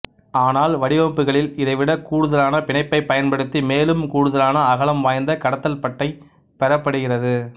ஆனால் வடிவமைப்புகளில் இதைவிட கூடுதலான பிணைப்பைப் பயன்படுத்தி மேலும் கூடுதலான அகலம் வாய்ந்த கடத்தல்பட்டை பெறப்படுகிறது